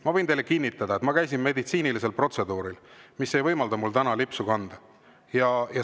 Ma võin teile kinnitada, et ma käisin meditsiinilisel protseduuril, mis ei võimalda mul täna lipsu kanda.